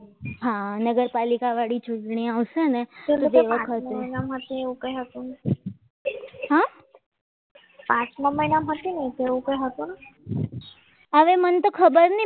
આ નગરપાલિકા વાળી ચૂંટણી આવશે ને તે વખતે એમાં એવું કંઈ હતું. આઠમા મહિનામાં હતી ને હવે મને તો ખબર નહીં